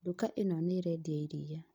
Nduka ĩno nĩĩrendia iria